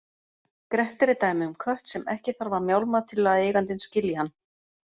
Grettir er dæmi um kött sem ekki þarf að mjálma til að eigandinn skilji hann.